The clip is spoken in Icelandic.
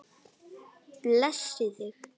Blessi þig.